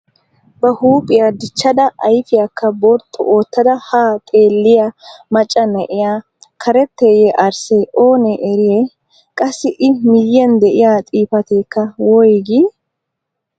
Ba huuphphiyaa dichchada ayfiyaakka borxxu oottada haa xeelliyaa macca na'iyaa karetteeye arssee oonee eriyay? Qassi i miyiyaan de'iyaa xifateekka woygii?